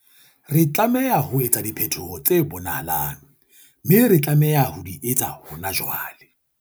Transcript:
Re tlameha ho etsa diphetoho tse bonahalang, mme re tlameha ho di etsa hona jwale.